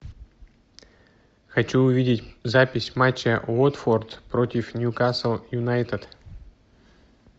хочу увидеть запись матча уотфорд против ньюкасл юнайтед